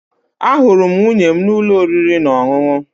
Ahụrụ m nwunye m n'ụlọ oriri na ọṅụṅụ